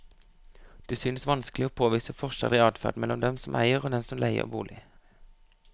Det synes vanskelig å påvise forskjeller i adferd mellom dem som eier og dem som leier bolig.